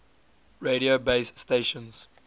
radio base stations